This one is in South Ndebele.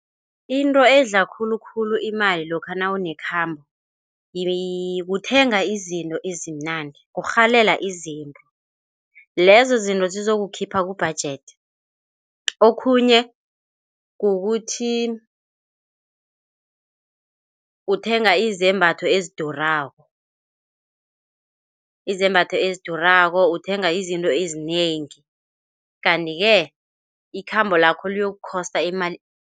Into edla khulukhulu imali lokha nawune khamba ukuthenga izinto ezimnandi, urhalela izinto, lezozinto zizokukhipha kubhajedi, okhunye kukuthi uthenga izembatho ezidurako, izembatho ezidurako. Uthenga izinto ezinengi, kanti-ke ikhambo lakho lokukhosta imali.